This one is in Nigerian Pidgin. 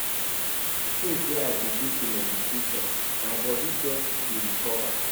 Since wey I begin dey do meditation, my bodi just dey recover.